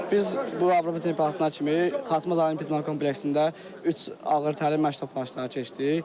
Biz bu Avropa çempionatına kimi Xaçmaz Olimpiya kompleksində üç ağır təlim məşq tapşırıqları keçdik.